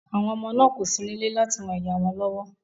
Àwọn ọmọ náà kò sí nílé láti ran ìyá wọn lọ́wọ́